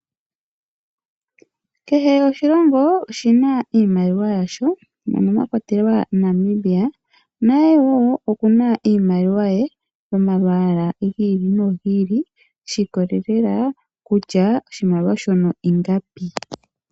Kehe oshilongo oshi na iimaliwa yasho mono mwa kwatelwa wo Namibia naye oku na iimaliwa ye yomalwaala ga yooloka shi ikolelela kutya oshimaliwa shono ingapi.